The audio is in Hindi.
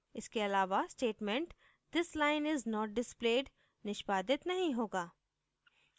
इसके अलावा statement this line is not displayed निष्पादित नहीं होगा